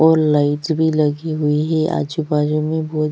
और लाइट्स भी लगे हुए है आजु-बाजु में बहुत--